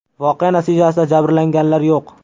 Voqea natijasida jabrlanganlar yo‘q.